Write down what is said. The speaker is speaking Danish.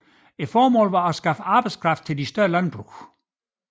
Formålet var at skaffe arbejdskraft til de større landbrug